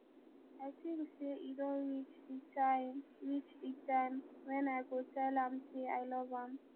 i think say e don reach the time reach the time wen i go tell am say i love am